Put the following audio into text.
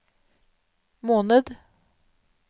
måned